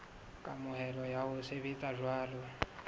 kamohelo ya ho sebetsa jwalo